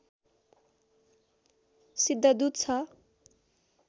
सिद्धदूत छ